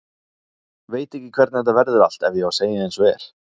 Veit ekki hvernig þetta verður allt ef ég á að segja eins og er.